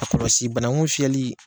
A kɔlɔsi banaku fiyɛli.